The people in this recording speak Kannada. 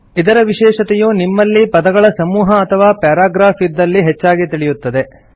ಇದರ ವಿಶೇಷತೆಯು ನಿಮ್ಮಲ್ಲಿ ಪದಗಳ ಸಮೂಹ ಅಥವಾ ಪ್ಯಾರಾಗ್ರಾಫ್ ಇದ್ದಲ್ಲಿ ಹೆಚ್ಚಾಗಿ ತಿಳಿಯುತ್ತದೆ